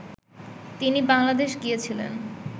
তিনি বাংলাদেশ গিয়েছিলেন